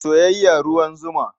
Soyayya ruwan zuma.